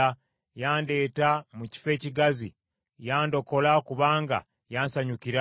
Yandeeta mu kifo ekigazi; yandokola kubanga yansanyukira.